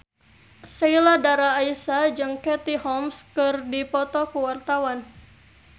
Sheila Dara Aisha jeung Katie Holmes keur dipoto ku wartawan